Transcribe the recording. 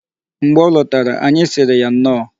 Mgbe ọ lọtara, anyị sịrị ya nnọọ.